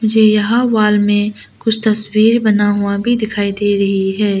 मुझे यहां वॉल में कुछ तस्वीर बना हुआ भी दिखाई दे रही है।